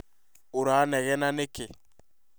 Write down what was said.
ũranegena nĩ kĩĩ?